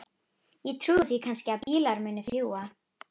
Ég trúi því kannski að bílar muni fljúga.